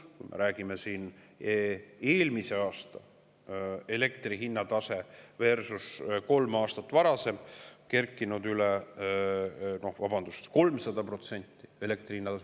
eelmise aasta elektri hinna taset kolm aastat varasemaga: elektri hind on kerkinud üle 300%.